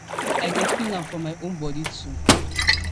i dey feel am for my own body [too]